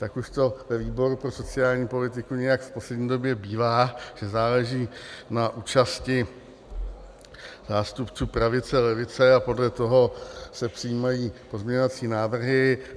Tak už to ve výboru pro sociální politiku nějak v poslední době bývá, že záleží na účasti zástupců pravice, levice a podle toho se přijímají pozměňovací návrhy.